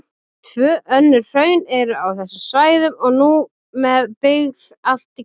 Tvö önnur hraun eru á þessum svæðum og nú með byggð allt í kring.